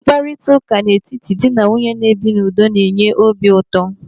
Mkparịtaụka n'etiti dị na nwunye na-ebi na udo na-enye obi ụtọ.